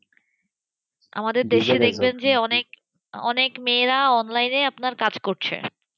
আমাদের দেশে দেখবেন যে অনেক অনেক মেয়েরা Online এ আপনার কাজ করছে।